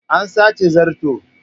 An sace zarto.